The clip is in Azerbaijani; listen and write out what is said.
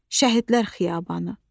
Şəhidlər Xiyabanı.